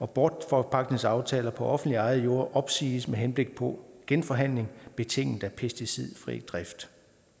bortforpagtningsaftaler på offentligt ejede jorde opsiges med henblik på genforhandling betinget af pesticidfri drift